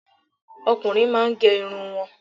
Ọkùnrin máà ń gẹ irun wọn